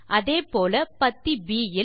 அதே போல பத்தி ப் இல்